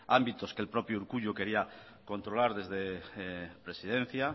ámbitos que el propio urkullu quería controlar desde presidencia